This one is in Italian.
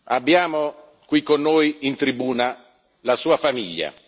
Abbiamo qui con noi in tribuna la sua famiglia.